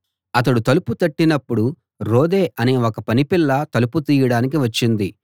అతడు తలుపు తట్టినప్పుడు రొదే అనే ఒక పని పిల్ల తలుపు తీయడానికి వచ్చింది